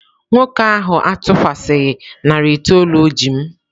Nwoke ahụ atụkwasịghị narị itoolu o ji m.